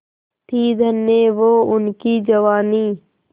थी धन्य वो उनकी जवानी